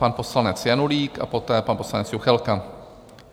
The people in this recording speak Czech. Pan poslanec Janulík a poté pan poslanec Juchelka.